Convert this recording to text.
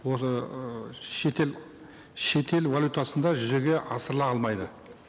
осы ыыы шетел шетел валютасында жүзеге асырыла алмайды